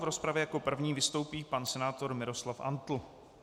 V rozpravě jako první vystoupí pan senátor Miroslav Antl.